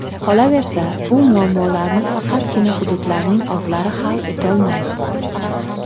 Qolaversa, bu muammolarni faqatgina hududlarning o‘zlari hal etolmaydi.